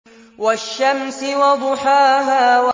وَالشَّمْسِ وَضُحَاهَا